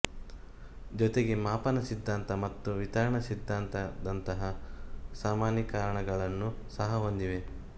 ಜೊತೆಗೆ ಮಾಪನಾ ಸಿದ್ಧಾಂತ ಮತ್ತು ವಿತರಣಾ ಸಿದ್ಧಾಂತದಂತಹ ಸಾಮಾನ್ಯೀಕರಣಗಳನ್ನು ಸಹ ಹೊಂದಿವೆ